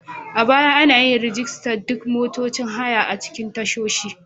A baya, an yi rajistar duk motocin haya a cikin tashoshi.